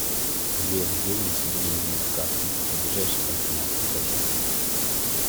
сбер где внести деньги на карту ближайший банкомат покажи